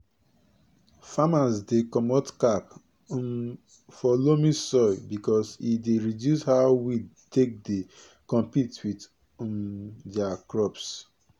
farmers dey comot cap um for loamy soil because e dey reduce how weed take dey compete with um dia crops